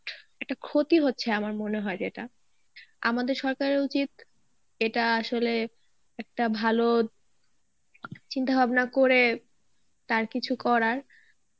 একটা ক্ষতি হচ্ছে আমার মনে হয় যেটা, আমাদের সরকারের উচিত এটা আসলে একটা ভালো চিন্তা ভাবনা করে তার কিছু করার